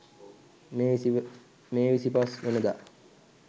මෙම 25 වන දා